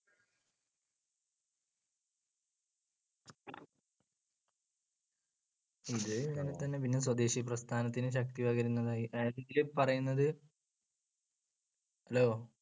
ഇതേപോലെ തന്നെ സ്വദേശി പ്രസ്ഥാനത്തിന് ശക്തി പകരുന്നതായി പറയുന്നത് Hello